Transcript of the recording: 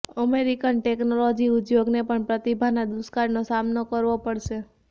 American technology ઉદ્યોગને પણ પ્રતિભાના દૃુષ્કાળનો સામનો કરવો પડશે